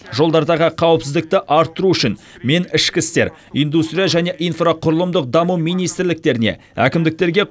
жолдардағы қауіпсіздікті арттыру үшін мен ішкі істер индустрия және инфрақұрылымдық даму министрліктеріне әкімдіктерге